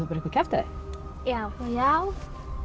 eitthvað kjaftæði já